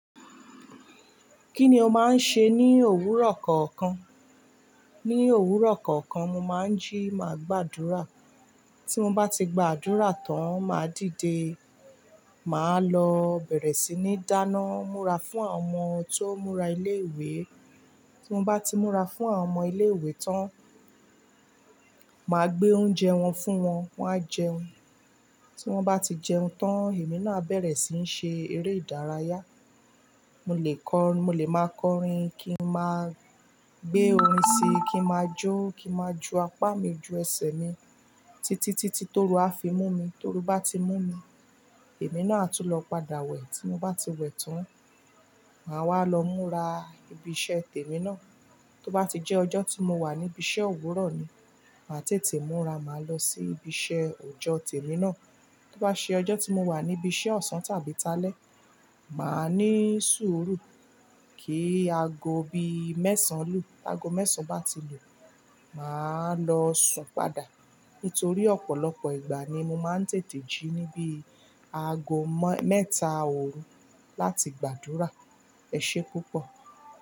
Kí ni o máa ń ṣe ní òwúrọ̀ kọ̀ọ̀kan? Ní òwúrọ̀ kọ̀ọ̀kan, mo máa ń jí, màá gbàdúrà. Tí mo bá ti gbàdúrà tán, máa dìde. Màá lọ bẹ̀rẹ̀ sí ní dáná, múra fún àwọn ọmọ tó ń múra ilé ìwé. Tí mo bá ti múra fún àwọn ọmọ ilé ìwé tán, màá gbé oúnjẹ wọn fún wọn, wọn á jẹun. Tí wọ́n bá ti jẹun tán, èmi náà á bẹ̀rẹ̀ sí ní ṣe eré ìdárayá. Mo lè kọrin, mo lè máa kọrin kí n máa gbé orin sí i, kí n máa jó, kí n máa ju apá mi ju ẹsẹ̀ mi títí, títí tó ru á fi mú mi. Torú bá ti mú mi, èmi náà á tún lọ padà wẹ̀. Tí mo bá ti wẹ̀ tán, màá wá lọ múra ibi iṣẹ́ tèmi náà. Tí ó bá ti jẹ́ ọjọ́ tí mo wà níbi iṣẹ́ òwúrọ̀ ni, màá tètè múra. Màá lọ sí ibi iṣẹ́ ọjọ́ tèmi náà. Tí ó bá ṣe ọjọ́ tí mo wà níbi iṣẹ́ ọ̀sán tàbí taálẹ̀, màá ní sùúrù kí aago bíi mẹ́sàn án lù. Aago mẹ́sàn án bá ti lù, màá lọ sùn padà. Nítorí ọ̀pọ̀lọpọ̀ ìgbà ni mo máa ń tètè jí níbi aago mẹ́ta òru láti gbàdúrà. Ẹ ṣé púpọ̀.